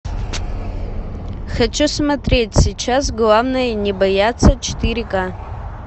хочу смотреть сейчас главное не бояться четыре ка